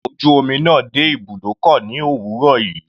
Ọkọ̀ ojú omi náà dé ibùdókọ̀ ní òwúrọ̀ yìí.